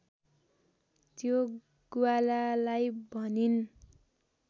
त्यो ग्वालालाई भनिन्